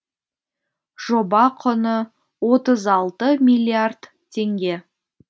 жоба құны отыз алты миллиард теңге